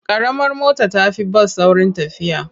Ƙaramar mota ta fi bas saurin tafiya.